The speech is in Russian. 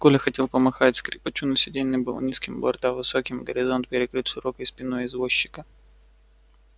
коля хотел помахать скрипачу но сиденье было низким борта высокими горизонт перекрыт широкой спиной извозчика